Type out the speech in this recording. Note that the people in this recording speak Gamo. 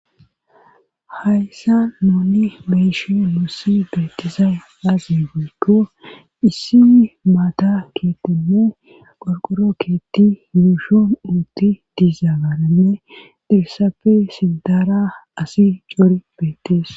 hayssa nuni beyishin nussi beettizay aze giikko issi maata keetinne qorqoro keetti yuushon uutti dizaagaranne hessappe sitara asi cor beettees